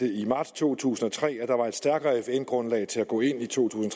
i marts to tusind og tre meddelte at der var et stærkere fn grundlag til at gå ind i to tusind